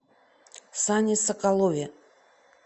сане соколове